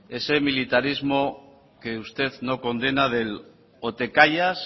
ese militarismo que usted no condena del o te callas